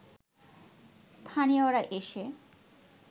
স্থানীয়রা এসে